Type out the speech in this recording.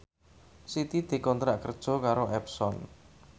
Siti dikontrak kerja karo Epson